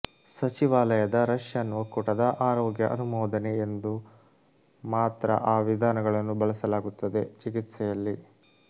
ಸಚಿವಾಲಯದ ರಷ್ಯನ್ ಒಕ್ಕೂಟದ ಆರೋಗ್ಯ ಅನುಮೋದನೆ ಎಂದು ಮಾತ್ರ ಆ ವಿಧಾನಗಳನ್ನು ಬಳಸಲಾಗುತ್ತದೆ ಚಿಕಿತ್ಸೆಯಲ್ಲಿ